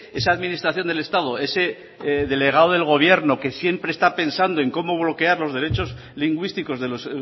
esa administración del estado ese delegado del gobierno que siempre está pensando en cómo bloquear los derechos lingüísticos de los